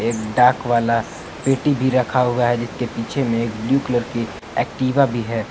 एक डाक वाला पेटी भी रखा हुआ है जिसके पीछे में एक ब्लू कलर की एक्टिवा भी है।